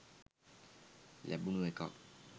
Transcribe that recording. ලැබුනු එකක්.